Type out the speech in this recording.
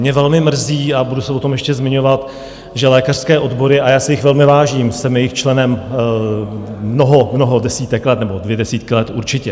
Mě velmi mrzí, a budu se o tom ještě zmiňovat, že lékařské odbory - a já si jich velmi vážím, jsem jejich členem mnoho, mnoho desítek let, nebo dvě desítky let určitě...